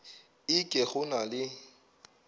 e ke go na le